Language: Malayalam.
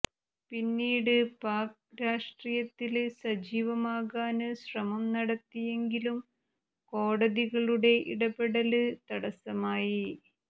പിന്നീട് പാക് രാഷ്ട്രീയത്തില് സജീവമാകാന് ശ്രമം നടത്തിയെങ്കിലും കോടതികളുടെ ഇടപെടലുകള് തടസമായി